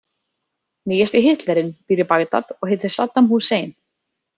Nýjasti Hitlerinn býr í Bagdad og heitir Saddam Hussein.